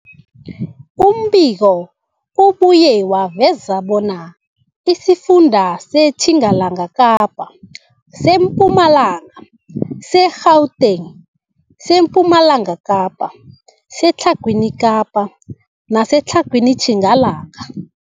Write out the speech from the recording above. Umbiko ubuye waveza bona isifunda seTjingalanga Kapa, seMpumalanga, seGauteng, sePumalanga Kapa, seTlhagwini Kapa neseTlhagwini Tjingalanga.